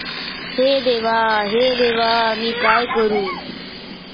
हे देवा, हे देवा, मी काय करू?